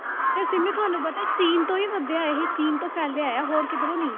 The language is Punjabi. ਤੇ ਸਿੰਮੀ ਤੁਹਾਨੂੰ ਪਤਾ ਹੈ ਚੀਨ ਤੋਂ ਹੀ ਵਧਿਆ ਇਹ ਚੀਨ ਤੋਂ ਫੈਲਿਆ ਹੈ ਹੋਰ ਕਿੱਧਰੋਂ ਨੀ।